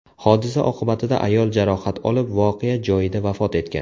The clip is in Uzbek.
Hodisa oqibatida ayol jarohat olib, voqea joyida vafot etgan.